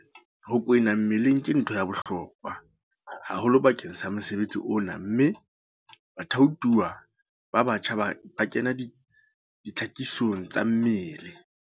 Ho kwena mmeleng ke ntho ya bohlokwa haholo bakeng sa mosebetsi ona mme bathaothuwa ba batjha ba kena ditlhakisong tsa mmele.